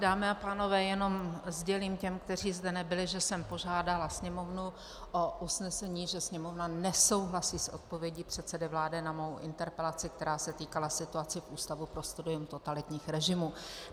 Dámy a pánové, jenom sdělím těm, kteří zde nebyli, že jsem požádala Sněmovnu o usnesení, že Sněmovna nesouhlasí s odpovědí předsedy vlády na mou interpelaci, která se týkala situace v Ústavu pro studium totalitních režimů.